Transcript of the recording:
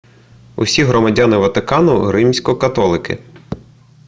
усі громадяни ватикану римсько-католики